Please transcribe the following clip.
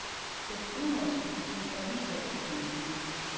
Dets udenrigspolitik er lige så ekspansiv.